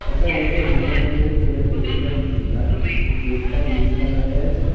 এটা দেখে মনে হচ্ছে কোন একটা ইন্ডাস্ট্রি যার গে-গেটটা নীল কালারের।